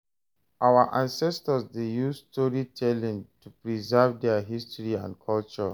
Our ancestors dey use storytelling to preserve their history and culture.